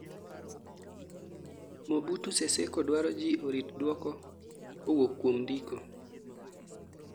Mobutu Seseko dwaro ji orit duoko kawuok kuom ndiko